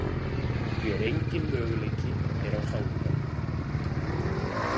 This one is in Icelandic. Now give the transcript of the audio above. því að enginn möguleiki er á sáluhjálp.